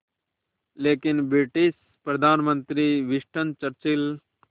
लेकिन ब्रिटिश प्रधानमंत्री Winston Churchill